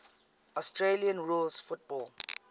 australian rules football